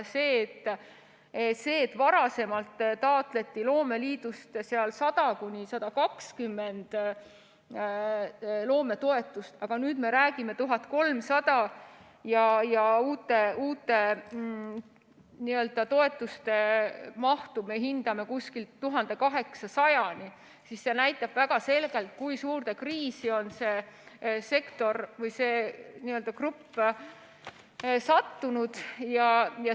See, et varasemalt taotleti loomeliidust 100–120 loometoetust, aga nüüd me räägime 1300‑st ja uute toetuste mahtu me hindame 1800‑ni, näitab väga selgelt, kui suurde kriisi on see sektor või see grupp sattunud.